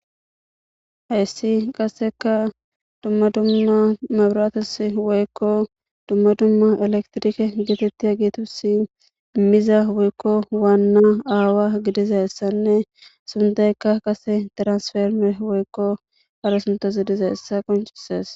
hayssi qasseka dumma dumma mabirates woykko dumma dumma elektrike geetettiya giitusi imiza woykko waanna aawa gidizayssanne sundeykka qase transferme woykko ara suntas gidizayssa qoncisees